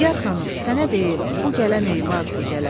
Nigər xanım, sənə deyim, bu gələn Eyvaz bu gələn.